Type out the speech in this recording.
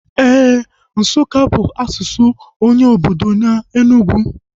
Éè, Nsukka bụ asụsụ onye obodo na Enugwu